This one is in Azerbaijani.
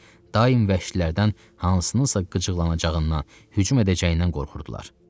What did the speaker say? Daim vəhşilərdən hansınısa qıcıqlanacağından, hücum edəcəyindən qorxurdular.